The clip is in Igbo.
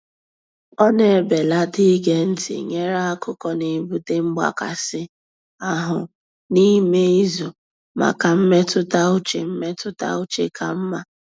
Ọ na-ebelata ige ntị nyere akụkọ n'ebute mgbakasị ahụ n'ime izu maka mmetụta uche mmetụta uche ka mma.